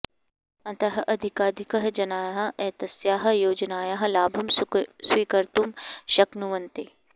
अतः अधिकाधिकाः जनाः एतस्याः योजनायाः लाभं स्वीकर्तुं शक्नुवन्ति